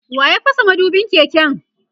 waya fasa madubin keken?